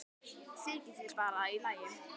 Þykir það bara í lagi.